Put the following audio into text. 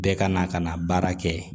Bɛɛ ka na ka na baara kɛ